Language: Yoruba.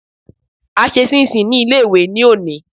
A ṣe ṣíínṣin ní ilé-ìwé ní òní